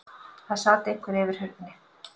Það sat einhver fyrir hurðinni.